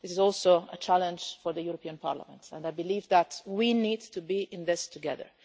This is also a challenge for the European Parliament and I believe that we need to be in this together.